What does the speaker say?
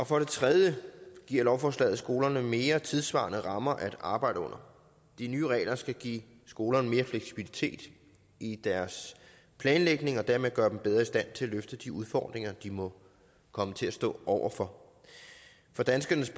for det tredje giver lovforslaget skolerne mere tidssvarende rammer at arbejde under de nye regler skal give skolerne mere fleksibilitet i deres planlægning og dermed gøre dem bedre i stand til at løfte de udfordringer de må komme til at stå over for for danskernes